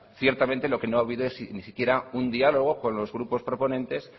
ciertamente no que no ha habido es siquiera un diálogo con los grupos proponentes